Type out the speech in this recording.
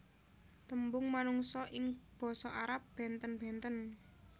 Tembung manungsa ing basa Arab bènten bènten